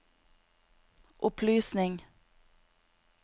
opplysning